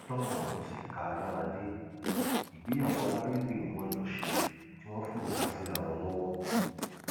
níbi tọrọ ọhún sì ká a lára dé ìgbéyàwó alárédè ni wọn jọ ṣe tí wọn forúka síra wọn lọwọ